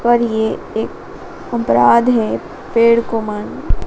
पर ये एक अपराध है पेड़ को मां--